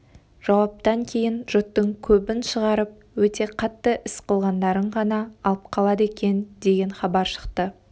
жауаптан кейін жұрттың көбін шығарып өте қатты іс қылғандарын ғана алып қалады екен деген хабар шықты